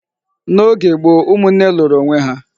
N',oge gboo, ụmụnne lụrụ onwé há.